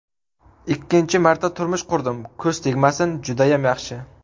Ikkinchi marta turmush qurdim, ko‘z tegmasin judayam yaxshi.